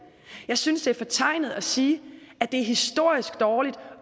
jeg synes det er fortegnet at sige at de er historisk dårlige